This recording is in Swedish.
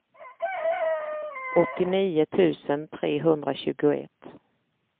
åttionio tusen trehundratjugoett